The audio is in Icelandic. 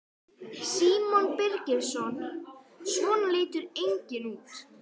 Símon Birgisson: Svona lítur enginn út?